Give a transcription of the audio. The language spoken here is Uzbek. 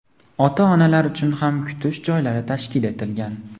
ota-onalar uchun ham kutish joylari tashkil etilgan.